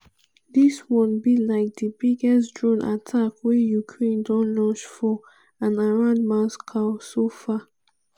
dis one be like di biggest drone attack wey ukraine don launch for and around moscow so far.